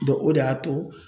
o de y'a to